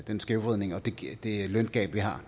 den skævvridning og det løngab vi har